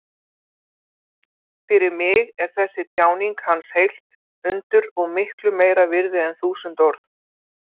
Fyrir mig er þessi tjáning hans heilt undur og miklu meira virði en þúsund orð.